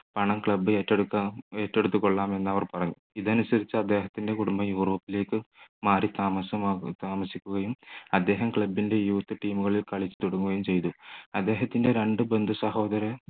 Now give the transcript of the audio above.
പണം club ഏറ്റെടുക്കാൻ ഏറ്റെടുത്തു കൊള്ളാം എന്ന് അവർ പറഞ്ഞു ഇതനുസരിച്ച് അദ്ദേഹത്തിൻ്റെ കുടുംബ യൂറോപ്പിലേക്ക് മാറി താമസിക്കുകയും അദ്ദേഹം club ൻ്റെ youth team കളിൽ കളി തുടങ്ങുകയും ചെയ്തു അദ്ദേഹത്തിൻറെ രണ്ടു ബന്ധു സഹോദരൻ